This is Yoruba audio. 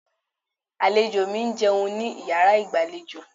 Àlejò mi jẹun ní yàrá ìgbàlejò.